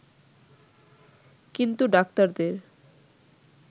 কিন্তু ডাক্তারদের